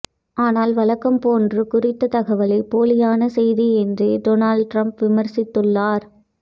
ஆனால் வழக்கம் போன்று குறித்த தகவலை போலியான செய்தி என்றே டொனால்டு டிரம்ப் விமர்சித்துள்ளார்